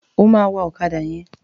Ó máa wa ọ̀kádà yẹn.